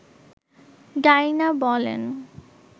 Dyna বলেন